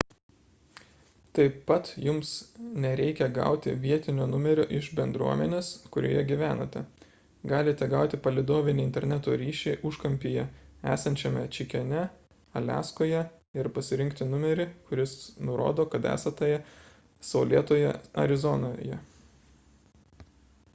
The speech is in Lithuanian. taip pat jums nereikia gauti vietinio numerio iš bendruomenės kurioje gyvenate galite gauti palydovinį interneto ryšį užkampyje esančiame čikene aliaskoje ir pasirinkti numerį kuris nurodo kad esate saulėtoje arizonoje